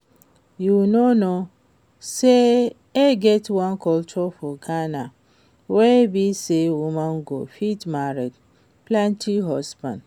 You no know say e get one culture for Ghana wey be say woman go fit marry plenty husband